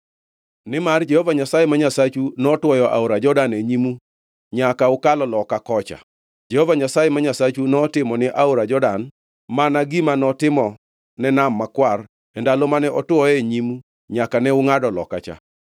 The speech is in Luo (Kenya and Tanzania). Nimar Jehova Nyasaye ma Nyasachu notwoyo aora Jordan e nyimu nyaka ukalo loka kocha. Jehova Nyasaye ma Nyasachu notimo ni aora Jordan mana gima notimone Nam Makwar e ndalo mane otwoye e nyimu nyaka ne ungʼado loka kocha.